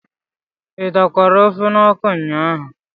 ị dakwara ofe n'ọkụ ụnyaahụ?